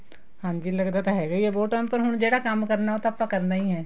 ਹਾਂਜੀ ਲੱਗਦਾ ਤਾਂ ਹੈਗਾ ਹੈ ਬਹੁਤ time ਪਰ ਹੁਣ ਜਿਹੜਾ ਕੰਮ ਕਰਨਾ ਉਹ ਤਾਂ ਆਪਾਂ ਕਰਨਾ ਹੀ ਹੈ